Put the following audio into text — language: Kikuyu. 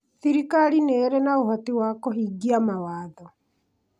thirikari nĩ irĩ na ũhoti wa kũhingia mawatho